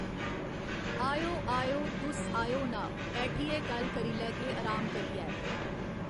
आएओ आएओ तुस आएओ ना बैठियै गल्ल करी लैह्गे अराम करियै।